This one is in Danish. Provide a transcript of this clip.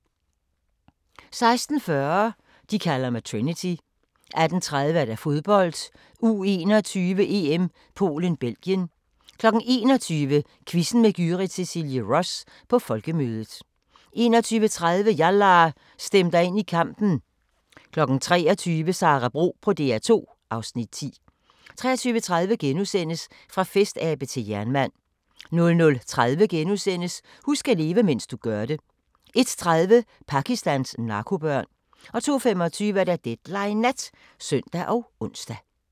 16:40: De kalder mig Trinity 18:30: Fodbold: U21-EM - Polen-Belgien 21:00: Quizzen med Gyrith Cecilie Ross – på Folkemødet 21:30: Yalla! Stem dig ind i kampen 23:00: Sara Bro på DR2 (Afs. 10) 23:30: Fra festabe til jernmand * 00:30: Husk at leve, mens du gør det * 01:30: Pakistans narkobørn 02:25: Deadline Nat (søn og ons)